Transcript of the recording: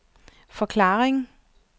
forklaring